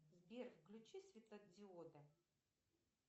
сбер включи светодиоды